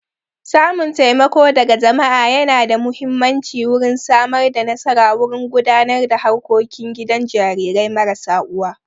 Samun taimako daga jama'a yana da muhimmanci wurin Samar da nasara wurin gudanar da harkokin gidan jarirai marasa uwa